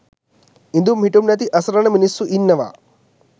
ඉදුම් හිටුම් නැති අසරණ මිනිස්සු ඉන්නවා.